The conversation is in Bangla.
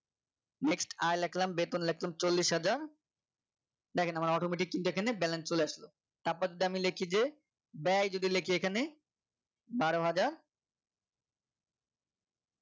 next আয় লিখলাম বেতন লিখলাম চল্লিশ হাজার দেখেন আমার automatic দেখে নিন balance চলে আসলো তারপর যে আমি লিখি যে ব্যয় যদি লেখি এখনে বারো হাজার